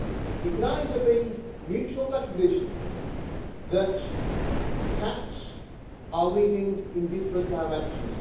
It can either be a mutual recognition that paths are leading in different directions